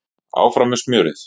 Áfram með smjörið!